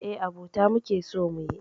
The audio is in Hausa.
Eh, abota muke so muyi.